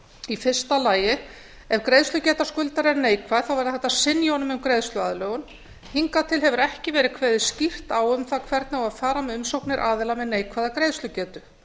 í fyrsta lagi ef greiðslugeta skuldara er neikvæð væri hægt að synja honum um greiðsluaðlögun hingað til hefur ekki verið kveðið skýrt á um það hvernig á að fara með umsóknir aðila með neikvæða greiðslugetu